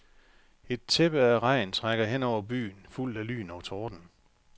Et tæppe af regn trækker hen over byen, fulgt af lyn og torden.